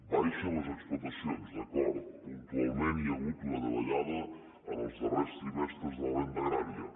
baixen les explotacions d’acord puntualment hi ha hagut una davallada els darrers trimestres de la renda agrària